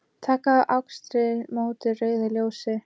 Taka á akstri móti rauðu ljósi